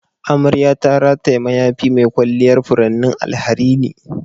Amarya ta rataya mayafi mai kwalliyar furannin alharini.